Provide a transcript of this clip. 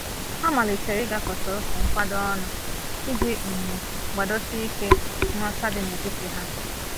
Ha malitere ịgakọta otu nkwado ọnụ, iji um gbadosi ike nghọta dị n'etiti ha.